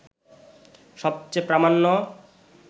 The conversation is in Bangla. সবচেয়ে প্রামাণ্য